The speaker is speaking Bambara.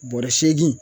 Bɔrɛ seegin